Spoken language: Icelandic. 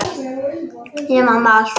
Ég man það allt.